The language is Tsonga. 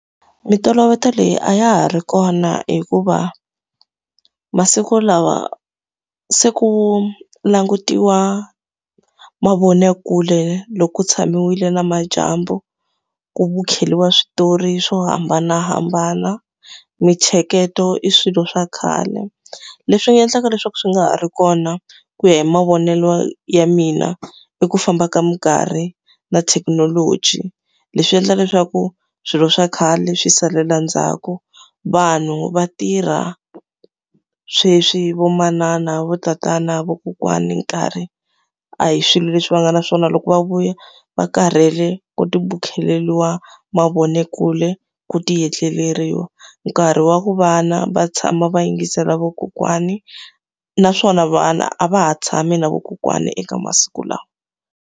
Mintolovelo leyi a ya ha ri kona hikuva masiku lawa se ku langutiwa mavonakule loko ku tshamiwile namadyambu, ku vukhengeriwa switori swo hambanahambana. Mintsheketo i swilo swa khale. Leswi nga endlaka leswaku swi nga ha ri kona ku ya hi mavonelo ya mina, i ku famba ka minkarhi na thekinoloji. Leswi endla leswaku swilo swa khale swi salela ndzhaku. Vanhu va tirha sweswi vo manana, vo tatana, vakokwani, nkarhi a hi swilo leswi va nga na swona. Loko va vuya va karhele, ku tivukheleriwa mavonakule, ku ti etleriwa. Nkarhi wa ku vana va tshama va yingisela vakokwani, naswona vana a va ha tshami na vakokwana eka masiku lawa.